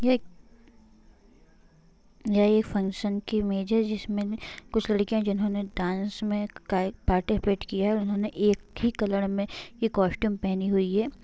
ये एक यह एक फंक्शन की इमेज है जिसमें कुछ लड़कियाँ जिन्होंने डांस में काए पार्टिसिपेट की है उन्होंने एक ही कलर में ये कास्टूम पहनी हुई है।